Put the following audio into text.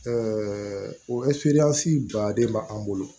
o baden bɛ an bolo